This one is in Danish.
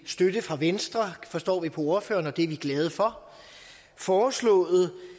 støtte fra venstre forstår vi på ordføreren og det er vi glade for foreslået